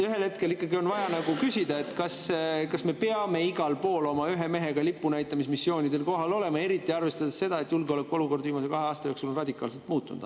Ühel hetkel on ikkagi vaja küsida, kas me peame igal pool oma ühe mehega lipu näitamise missioonidel kohal olema, eriti arvestades seda, et julgeolekuolukord on viimase kahe aasta jooksul radikaalselt muutunud.